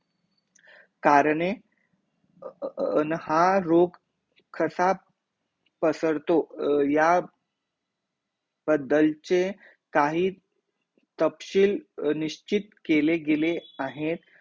करणे अर अर अर हा रोग कसा पसरतो ह्या बद्दलचे काही निश्चित केले गेलेले आहेत